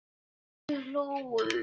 og við hlógum.